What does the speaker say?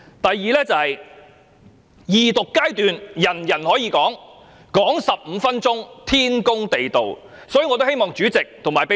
第二，各議員在二讀階段皆可以發言，發言15分鐘，是天公地道的事情。